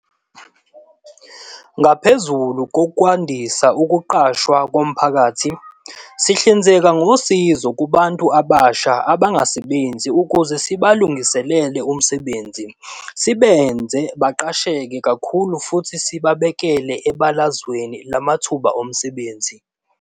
Ngaphezulu kokwandisa ukuqashwa komphakathi, sihlinzeka ngosizo kubantu abasha abangasebenzi ukuze sibalungiselele umsebenzi, sibenze baqasheke kakhulu futhi sibabeke ebalazweni lamathuba omsebenzi.